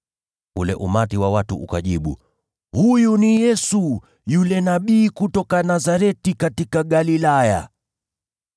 Ule umati wa watu ukajibu, “Huyu ni Yesu, yule nabii kutoka Nazareti katika Galilaya.”